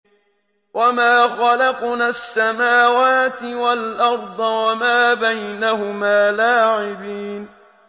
وَمَا خَلَقْنَا السَّمَاوَاتِ وَالْأَرْضَ وَمَا بَيْنَهُمَا لَاعِبِينَ